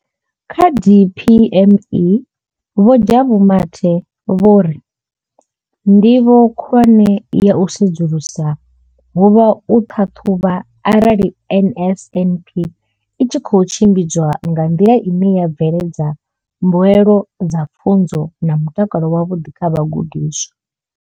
Kha DPME vho Jabu Mathe vho ri ndivho khulwane ya u sedzulusa ho vha u ṱhaṱhuvha arali NSNP i tshi khou tshimbidzwa nga nḓila ine ya bveledza mbuelo dza pfunzo na mutakalo wavhuḓi kha vhagudiswa.